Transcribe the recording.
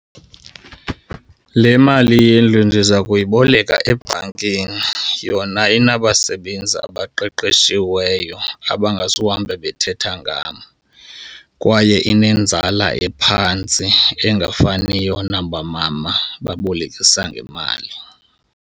Le mali yendlu ndiza kuyiboleka ebhankini yona inabasebenzi abaqeqeshiweyo abangazuhambe bethetha ngam, kwaye inenzala ephantsi engafaniyo naba mama babolekisa ngemali.